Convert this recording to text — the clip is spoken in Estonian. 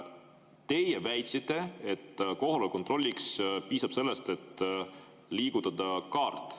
" Teie väitsite, et kohaloleku kontrolliks piisab sellest, et liigutada kaarti.